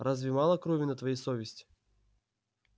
разве мало крови на твоей совести